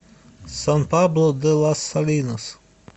сан пабло де лас салинас